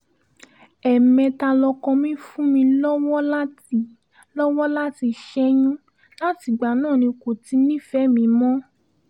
ẹ̀ẹ̀mẹ́ta lọkọ mi fún mi lọ́wọ́ láti lọ́wọ́ láti ṣẹ́yún látìgbà náà ni kò ti nífẹ̀ẹ́ mi mọ́